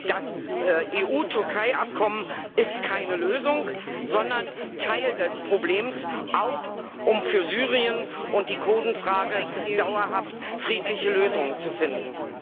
Das EU Türkei Abkommen ist keine Lösung, sondern Teil des Problems, auch um für Syrien und die Kurdenfrage dauerhaft friedliche Lösungen zu finden.